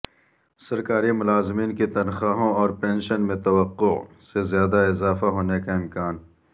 سرکاری ملازمین کی تنخواہوں اور پنشن میں توقع سے زیادہ اضافہ ہونے کا امکان